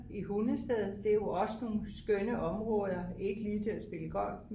i Hundested det er jo også nogle skønne områder ikke lige til at spille golf